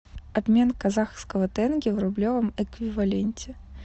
обмен казахского тенге в рублевом эквиваленте